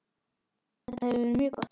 Þetta hefur verið mjög gott.